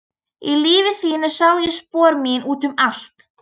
Í lífi þínu sá ég spor mín út um allt.